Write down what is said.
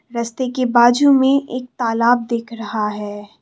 रास्ते की बाजू में एक तालाब दिख रहा है।